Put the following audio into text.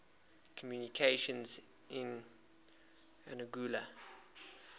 communications in anguilla